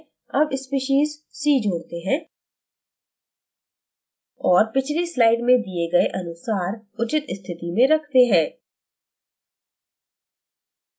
add species c जोड़ते है और पिछली slide में दिए गए अनुसार उचित स्थिति में रखते हैं